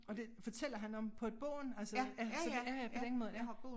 Og det fortæller han om på et bånd altså ja så det ja ja på den måde ja